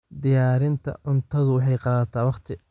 Diyaarinta cuntadu waxay qaadataa wakhti.